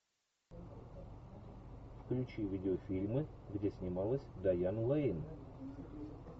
включи видеофильмы где снималась дайан лэйн